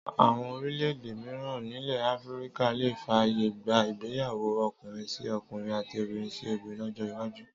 Àwọn orílẹ̀-èdè mìíràn nílẹ̀ Áfíríkà lè fàyè gba ìgbéyàwó ọkùnrin-sí-ọkùnrin àti obìnrin-sí-obìnrin lọ́jọ́ iwájú